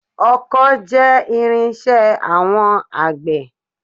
Ọkọ́ jẹ́ irin-iṣẹ́ àwọn àgbẹ̀